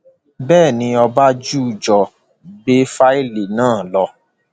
bẹẹ ni ọbánjújọ gbé fáìlì náà lọ